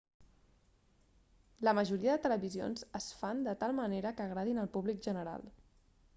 la majoria de televisions es fan de tal manera que agradin al públic general